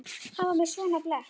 Hann var með svona blett.